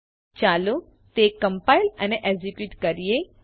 001049 001048 ચાલો તે કમ્પાઇલ અને એકઝીક્યુટ કરીએ